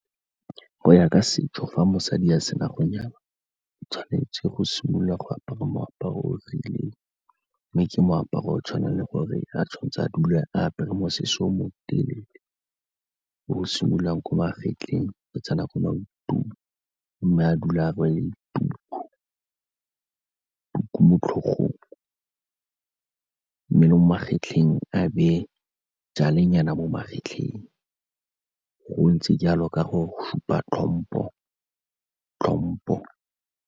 Go ya ka setso, fa mosadi a sena go nyala o tshwanetse go simolola go apara moaparo o rileng mme ke moaparo o tshwanang le gore a tshwanetse a dule apare mosese o mo telele o o simololwang ko magetleng go tsena ko maotong mme a dula a rwele tuku, tuku mo tlhogong mme le mo magetleng a bete nyana mo magetleng, go ntse jalo ka go supa tlhompho, tlhompho.